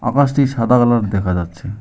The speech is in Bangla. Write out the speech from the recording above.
আকাশটি সাদা কালার দেখা যাচ্ছে।